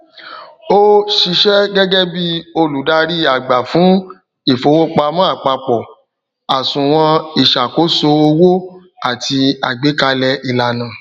o ṣiṣẹ gẹgẹ bí olùdarí àgbà fún ifowopamọ àpapọ àsùnwòn ìṣàkóso owó àti agbekalẹ ìlànà